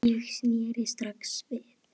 Ég sneri strax við.